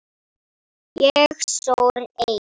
Ég sór eið.